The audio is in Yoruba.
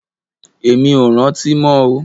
Èmi ò rántí mọ́ o